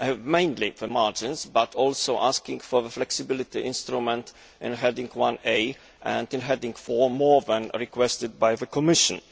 mainly the margins, but it is also asking for the flexibility instrument in Heading 1A and in Heading 4 more than requested by the Commission.